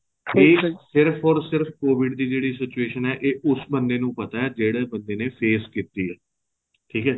ਇਹ ਸਿਰਫ or ਸਿਰਫ covid ਦੀ ਜਿਹੜੀ situation ਹੈ ਇਹ ਉਸ ਬੰਦੇ ਨੂੰ ਪਤਾ ਜਿਹੜੇ ਬੰਦੇ ਨੇ phase ਕੀਤੀ ਹੈ ਠੀਕ ਹੈ